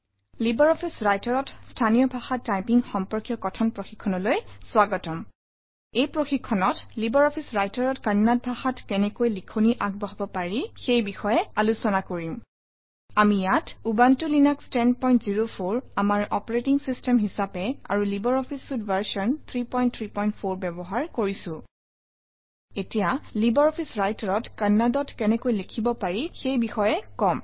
Libre Office Writer অত স্থানীয় ভাষা টাইপিং সম্পৰ্কীয় কথন প্ৰশিক্ষণলৈ স্বাগতম এই প্ৰশিক্ষণত লিব্ৰে অফিছ Writer-অত কন্নড় ভাষাত কেনেকৈ লিখনি আগবঢ়াব পাৰি সেই বিষয় আলোচনা কৰিম আমি ইয়াত উবুনটো লিনাস 1004 আমাৰ অপাৰেটিং চিষ্টেম হিচাপে আৰু লিব্ৰে অফিছ চুইতে ভাৰ্চন 334 ব্যৱহাৰ কৰিছোঁ এতিয়া লিব্ৰে অফিছ Writer অত কন্নড়ত কেনেকৈ লিখিব পাৰি সেইবিষয়ে কম